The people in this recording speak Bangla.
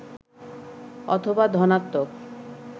অথবা ধনাত্নক